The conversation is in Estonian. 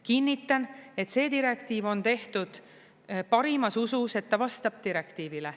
Kinnitan, et see direktiiv on tehtud parimas usus, et ta vastab direktiivile.